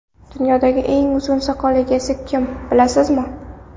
Dunyodagi eng uzun soqol egasi kim bilasizmi?